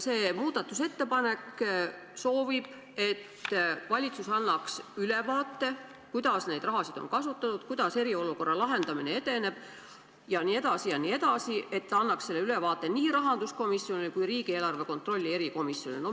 See muudatusettepanek soovib, et valitsus annaks ülevaate, kuidas seda raha on kasutatud, kuidas eriolukorra lahendamine edeneb jne, ning annaks selle ülevaate nii rahanduskomisjonile kui ka riigieelarve kontrolli erikomisjonile.